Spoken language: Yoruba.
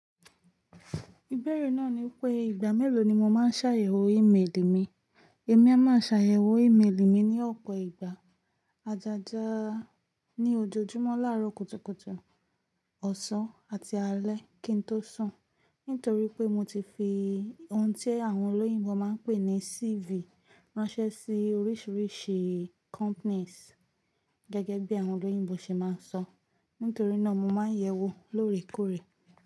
Ìbéèrè náà ni pé ìgbà mélòó ni mo máa ń ṣàyẹ̀wò ímélì mi. Èmi a máa ṣàyẹ̀wò ímélì mi ní ọ̀pọ̀ ìgbà. Ajaja ní ojoojúmọ́ láàárọ̀ kùtùkùtù, ọ̀sán àti alẹ́ kí n tó sùn. Nítorí pé mo ti fi ohun tí àwọn olóyìnbo máa ń pè ní CV ránṣẹ́ sí oríṣìíríṣìí companies gẹ́gẹ́ bí àwọn olóyìnbo ṣe máa ń sọ. Nítorí náà mo máa ń yẹ̀wò lóòrèkóòrè.